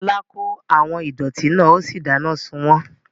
Lọlá kó àwọn ìdọ̀ọ̀tí náà ó sì dáná sun wọ́n